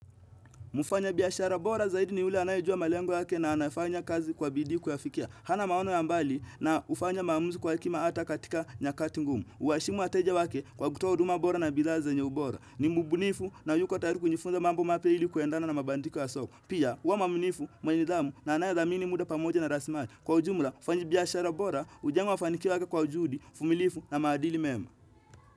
Mfanyabiashara bora zaidi ni yule anayejua malengo yake na anafanya kazi kwa bidii kuyafikia. Ana maono ya mbali na hufanya maamuzi kwa hekima hata katika nyakati ngumu. Uwaheshimu wateja wake kwa kutoa huduma bora na bidhaa zenye ubora. Ni mbunifu na yuko tayari kujifunza mambo mapya ilikuendana na mabadiliko ya soko. Pia, huwa muaminifu, mwenye nidhamu na anayethamini muda pamoja na rasilimali Kwa ujumula, mfanyabiashara bora, hujengwa mafanikio yake kwa juhudi, uvumilivu na maadili mema.